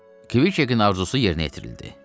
Kviçekin arzusu yerinə yetirildi.